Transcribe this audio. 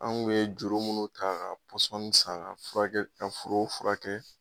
An ŋun ye juru munnu ta pɔsɔni san ka furakɛ ka forow furakɛ